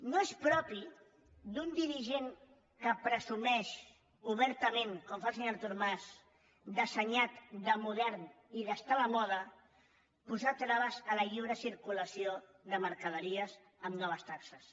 no és propi d’un dirigent que presumeix obertament com ho fa el senyor artur mas d’assenyat de modern i d’estar a la moda posar traves a la lliure circulació de mercaderies amb noves taxes